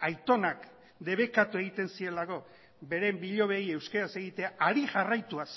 aitonak debekatu egiten zielako beren bilobei euskaraz egitea hari jarraituaz